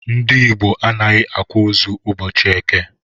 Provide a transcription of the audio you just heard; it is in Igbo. Ndi igbo adighi akwa ozu ubọchi eke.